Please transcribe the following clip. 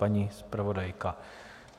Paní zpravodajka?